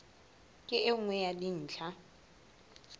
ke e nngwe ya dintlha